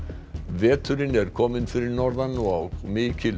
veturinn er kominn fyrir norðan og mikil